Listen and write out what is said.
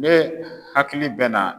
Ne hakili bɛ na